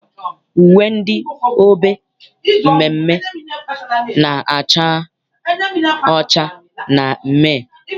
Uwe ndị obe mmeemmee na-acha ọcha na mmee.